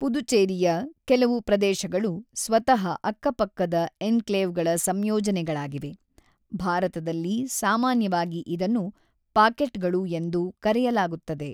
ಪುದುಚೇರಿಯ ಕೆಲವು ಪ್ರದೇಶಗಳು ಸ್ವತಃ ಅಕ್ಕಪಕ್ಕದ ಎನ್‌ಕ್ಲೇವ್‌ಗಳ ಸಂಯೋಜನೆಗಳಾಗಿವೆ, ಭಾರತದಲ್ಲಿ ಸಾಮಾನ್ಯವಾಗಿ ಇದನ್ನು "ಪಾಕೆಟ್‌ಗಳು" ಎಂದು ಕರೆಯಲಾಗುತ್ತದೆ.